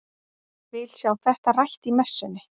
Vil sjá þetta rætt í messunni!